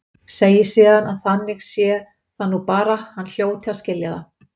Segi síðan að þannig sé það nú bara, hann hljóti að skilja það.